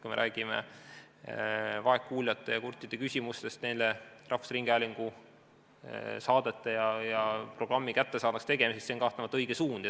Kui me räägime vaegkuuljate ja kurtide küsimusest, neile rahvusringhäälingu saadete ja programmi kättesaadavaks tegemisest, siis see on kahtlemata õige suund.